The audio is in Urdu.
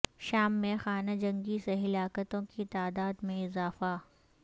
شام میں خانہ جنگی سے ہلاکتوں کی تعداد میں اضافہ